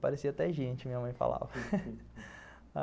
Parecia até gente, minha mãe falava.